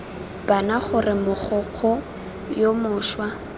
bana gore mogokgo yo mošwa